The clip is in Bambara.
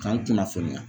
K'an kunnafoniya